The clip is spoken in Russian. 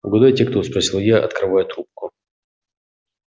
угадайте кто спросил я открывая трубку